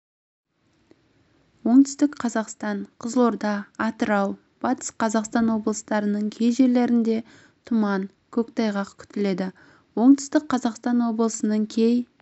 оңтүстік қазақстан қызылорда атырау батыс қазақстан облыстарының кей жерлерінде тұман көктайғақ күтіледі оңтүстік қазақстан облысының кей